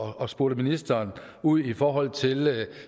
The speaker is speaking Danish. her og spurgte ministeren ud i forhold til